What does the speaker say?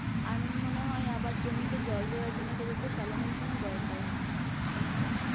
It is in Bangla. আর আমার মনে হয় আবার জমিতে জল দেওয়ার জন্যে তোদের তো শ্যালো machine ও দরকার হয় নিশ্চয়ই